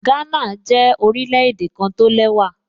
Gánà jẹ́ orílẹ̀-èdè kan tó lẹ́wà